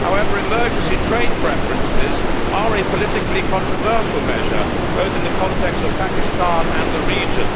However, emergency trade preferences are a politically controversial measure, both in the context of Pakistan and the region.